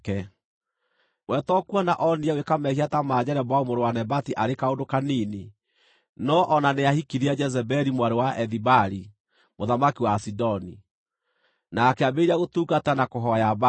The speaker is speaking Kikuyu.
We to kuona onire gwĩka mehia ta ma Jeroboamu mũrũ wa Nebati arĩ kaũndũ kanini, no-o na nĩahikirie Jezebeli mwarĩ wa Ethibaali mũthamaki wa Asidoni, na akĩambĩrĩria gũtungata na kũhooya Baali.